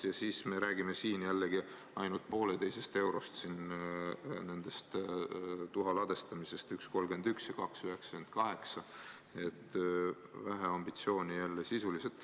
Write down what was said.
Ja veel, me räägime jällegi ainult 1,5 eurost selle tuha ladestamise puhul: 1,31 versus 2,98 – nii et vähe ambitsiooni jälle sisuliselt.